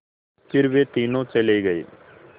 फिर वे तीनों चले गए